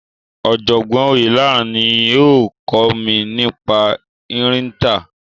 Ọ̀jọ̀gbọ́n Oyelaran ni ó kọ́ mi nípa ìrìntàn.